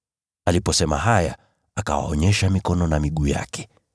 Aliposema haya, akawaonyesha mikono na miguu yake.